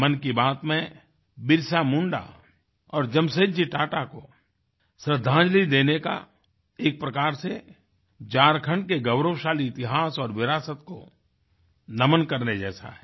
मन की बात में बिरसा मुंडा और जमशेदजी टाटा को श्रद्दांजलि देने का एक प्रकार से झारखण्ड के गौरवशाली इतिहास और विरासत को नमन् करने जैसा है